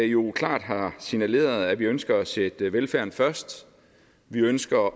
jo klart har signaleret at vi ønsker at sætte velfærden først vi ønsker